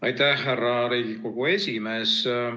Aitäh, härra Riigikogu esimees!